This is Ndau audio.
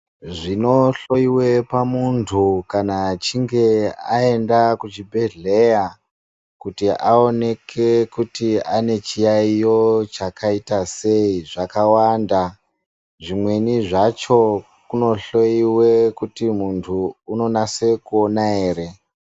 Zvino hloyiwe pa muntu kana achinge ayenda ku chibhedhleya kuti aoneke kuti ane chiyayiyo chakaita sei zvaka wanda zvimweni zvacho kuno hloyiwe kuti muntu uno nase ku ona ere.